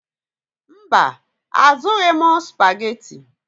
Mba, azụrụghị m Supagetii.